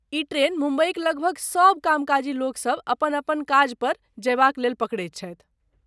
ई train मुम्बईक लगभग सब कामकाजी लोकसभ अपन अपन काजपर जयबाक लेल पकड़ैत छथि।